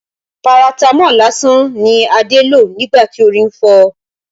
Paratamọ́ọ̀ lásán ni Adé lò nígbà tí orí ń fọ́ ọ